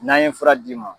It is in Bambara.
N'an ye fura d'i ma